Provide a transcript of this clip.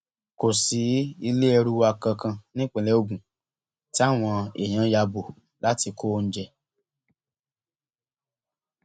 kò sí ilé ẹrù wa kankan nípínlẹ ogun táwọn èèyàn ya bò láti kó oúnjẹ